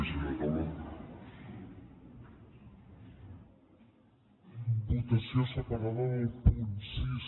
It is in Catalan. votació separada dels punts sis